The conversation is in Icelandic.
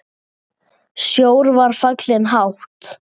Sjór var fallinn hátt.